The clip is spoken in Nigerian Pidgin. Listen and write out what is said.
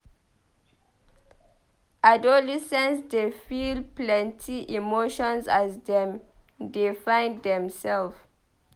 Adolescents dey feel plenty emotions as dem dey find demself.